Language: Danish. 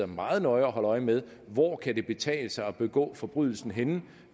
meget nøje øje med hvor det kan betale sig at begå forbrydelsen henne